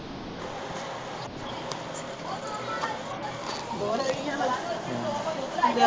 ਹੋਰ ਲੜੀਆਂ ਲਗਾ ਲਉ ਇੱਥੇ